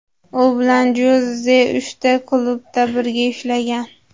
U bilan Joze uchta klubda birga ishlagan.